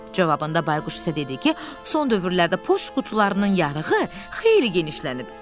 Cavabında Bayquş isə dedi ki, son dövrlərdə poçt qutularının yarığı xeyli genişlənib.